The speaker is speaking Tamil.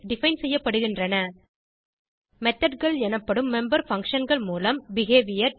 டிஃபைன் செய்யப்படுகின்றன methodகள் எனப்படும் மெம்பர் functionகள் மூலம் பிஹேவியர்